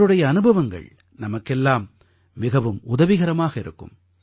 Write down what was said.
அவருடைய அனுபவங்கள் நமக்கெல்லாம் மிகவும் உதவிகரமாக இருக்கும்